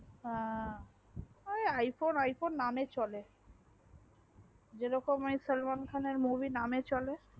বা ঐই iphone iphone নামে চলা যেইরকম সালমান খানার movie নামে চলে